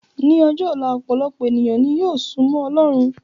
Ní ọjọ́ ọ̀la, ọpọ̀lọpọ̀ ènìyàn ni yóò súmọ́ ọlọ́run